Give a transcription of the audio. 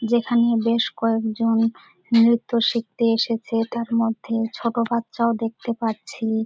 যেখানে-এ বেশ কয়েকজন নৃত্য শিখতে এসেছে তার মধ্যে ছোট বাচ্চাও দেখতে পাচ্ছি ।